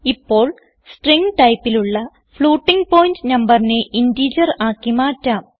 ഇപ്പോൾ സ്ട്രിംഗ് ടൈപ്പിലുള്ള floating point നമ്പറിനെ ഇന്റിജർ ആക്കി മാറ്റാം